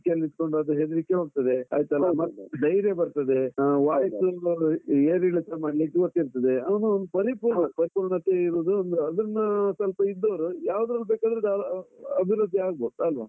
ಯಲ್ಲಿ ಇದ್ಕೊಂಡು ಅದು ಹೆದ್ರಿಕೆ ಹೋಗ್ತದೆ ಆಯ್ತಲ್ಲ ಮತ್ತೆ ಧೈರ್ಯ ಬರ್ತದೆ, voice ಏರಿಳಿತ ಮಾಡ್ಲಿಕ್ಕೆ ಗೊತ್ತಿರ್ತದೆ. ಅವನು ಒಂದು ಪರಿಪೂರ್ಣತೆ ಪರಿಪೂರ್ಣತೆ ಇರುದು ಒಂದು, ಅದನ್ನಾ ಸ್ವಲ್ಪ ಇದ್ದೋರು, ಯಾವುದ್ರಲ್ಲೂ ಬೇಕಾದ್ರು ಆಹ್ ಅಭಿವೃದ್ಧಿ ಆಗ್ಬೋದು ಅಲ್ವಾ?